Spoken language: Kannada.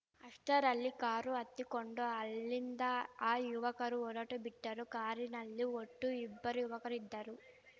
ಅಷ್ಟರಲ್ಲಿ ಕಾರು ಹತ್ತಿಕೊಂಡು ಅಲ್ಲಿಂದ ಆ ಯುವಕರು ಹೊರಟು ಬಿಟ್ಟರು ಕಾರಿನಲ್ಲಿ ಒಟ್ಟು ಇಬ್ಬರು ಯುವಕರು ಇದ್ದರು